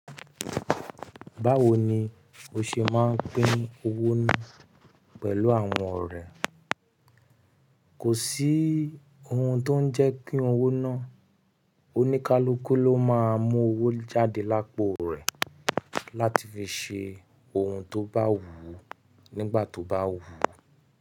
Báwo ni ó ṣe máa ń pín owó náà pẹ̀lú àwọn ọ̀rẹ́? Kò sí oun tó ń jẹ́ kí owó náà oníkálukú ló máa mú owó jáde lápò rẹ̀ láti fi ṣe oun tó bá wù ú nígbà tó bá wù ú.